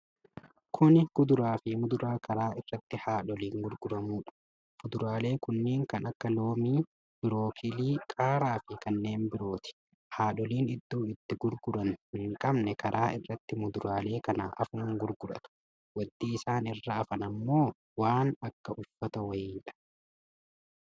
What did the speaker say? Kuni kuduraa fi muduraa karaa irratti haadholiin gurguramudha. fuduraalee kunniin kan akka loomii, birookilii, qaaraa fi kanneen birooti. Haadholiin iddoo itti gurguran hin qabne karaa irratti muduraalee kana afuun gurguratu. wanti isaan irra afan ammoo waan akka uffataa wayiidha.